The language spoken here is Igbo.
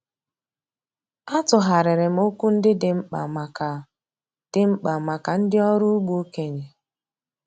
A tụgharịrị m okwu ndị dị mkpa maka dị mkpa maka ndị ọrụ ugbo okenye.